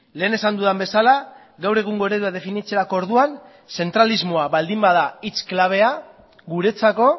lehen esan dudan bezala gaur egungo eredua definitzerako orduan zentralismoa baldin bada hitz klabea guretzako